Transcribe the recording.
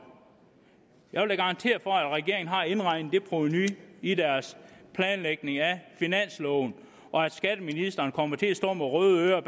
garantere for at regeringen har indregnet det provenu i deres planlægning af finansloven og at skatteministeren kommer til at stå med røde ører